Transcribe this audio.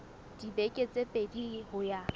dibeke tse pedi ho ya